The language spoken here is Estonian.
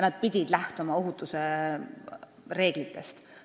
Nad pidid lähtuma ohutusreeglitest.